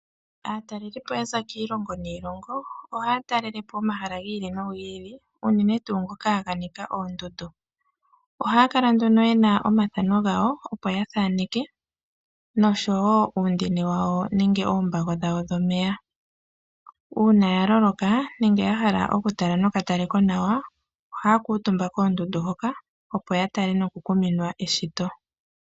Aatalelipo ya za kiilongo niilongo ohaya talele po omahala gi ili nogi ili unene tuu ngoka ganika oondundu. Ohaya kala nduna yena omathano gawo opo ya thaneke noshowo uundini wawo nenge oombago dhawo dhomeya ,uuna ya vulwa nenge ya hala oku tala noka talekonawa ohaya kuutumba koondundu hoka opo ya tale noku kuminwa eshito.